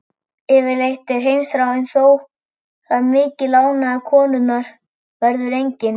Yfirleitt er heimþráin þó það mikil ánægja konunnar verður engin.